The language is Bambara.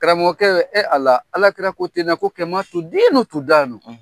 Karamɔgɔkɛ e Ala, alakira ko ten ko